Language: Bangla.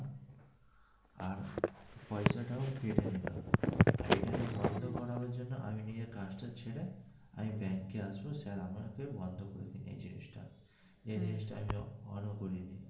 আর পয়সাটাও কেটে নিলো এটাকে বন্ধ করার জন্য আমি নিজের কাজটা ছেড়ে আমি ব্যাংকে আসবো sir বন্ধ করে দিন এই জিনিসটা এই জিনিসটা করে দিন.